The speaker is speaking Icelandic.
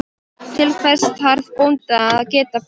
Til hvers þarf bóndi að geta bakað?